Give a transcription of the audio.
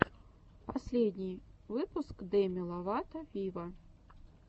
последний выпуск деми ловато виво